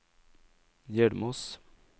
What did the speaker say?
Hjelmås